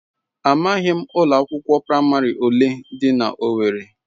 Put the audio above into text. Amaghị m ụlọ akwụkwọ praịmarị ole dị na owerri.